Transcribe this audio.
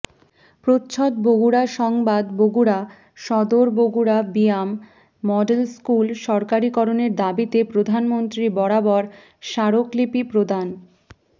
প্রচ্ছদ বগুড়া সংবাদ বগুড়া সদর বগুড়া বিয়াম মডেল স্কুল সরকারিকরণের দাবিতে প্রধানমন্ত্রী বরাবর স্মারকলিপি প্রদান